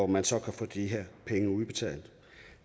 man så kan få de her penge udbetalt